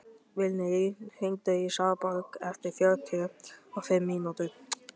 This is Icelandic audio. Vilný, hringdu í Svanborgu eftir fjörutíu og fimm mínútur.